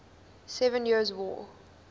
seven years war